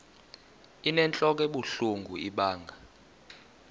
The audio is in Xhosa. inentlok ebuhlungu ibanga